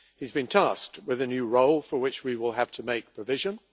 He has been tasked with a new role for which we will have to make provision.